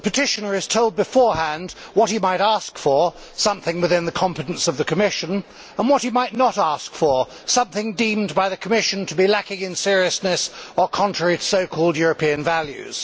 The petitioner is told beforehand what he might ask for, which is something within the competence of the Commission, and what he might not ask for, which is something deemed by the Commission to be lacking in seriousness or contrary to so called European values.